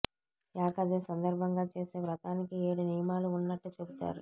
ఏకాదశి సందర్భంగా చేసే వ్రతానికి ఏడు నియమాలు ఉన్నట్టు చెబుతారు